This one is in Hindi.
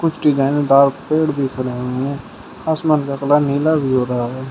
कुछ डिजाइन दार पेड़ दिख रहे हैं आसमान का कलर नीला भी हो रहा है।